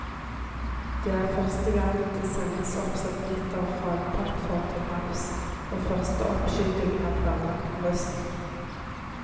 Det er første gang det sendes opp satellitter fra en plattform til havs, og første oppskyting er planlagt til høsten.